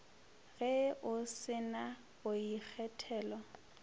ge o se na boikgethelo